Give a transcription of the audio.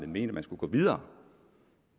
mener at man skulle gå videre